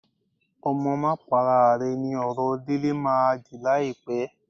Ọmọ máa para à ni ọ̀rọ̀ Délé máa dì láìpẹ́